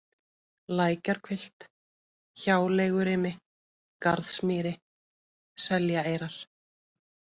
Lækjarhvilft, Hjáleigurimi, Garðsmýri, Seljaeyrar